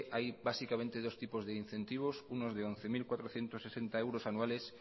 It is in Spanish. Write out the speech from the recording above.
hay básicamente dos tipos de incentivos unos de once mil cuatrocientos sesenta euros anuales